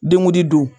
Dengudi do